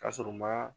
K'a sɔrɔ u ma